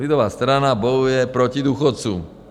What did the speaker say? Lidová strana bojuje proti důchodcům.